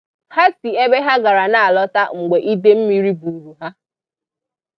Ha si ebe ha gara na-alọta mgbe ide mmiri buuru ha.